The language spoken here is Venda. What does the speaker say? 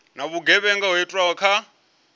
na vhugevhenga ho itwaho kha